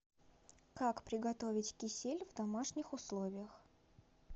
как приготовить кисель в домашних условиях